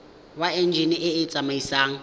wa enjine e e tsamaisang